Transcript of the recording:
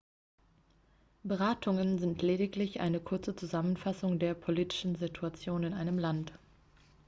beratungen sind lediglich eine kurze zusammenfassung der politischen situation in einem land